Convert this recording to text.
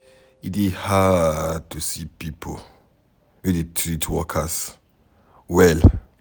E dey hard to see pipo wey dey treat workers well.